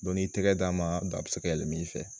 n'i tɛgɛ d'a ma a bɛ se ka yɛlɛm'i fɛ